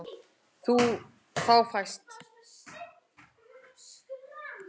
Þá fæst